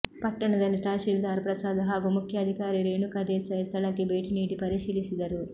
ಪಟ್ಟಣದಲ್ಲಿ ತಹಶೀಲ್ದಾರ್ ಪ್ರಸಾದ್ ಹಾಗೂ ಮುಖ್ಯಾಧಿಕಾರಿ ರೇಣುಕಾ ದೇಸಾಯಿ ಸ್ಥಳಕ್ಕೆ ಭೇಟಿ ನೀಡಿ ಪರಿಶೀಲಿಸಿದರು